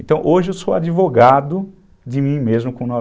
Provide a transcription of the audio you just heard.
Então hoje eu sou advogado de mim mesmo com nove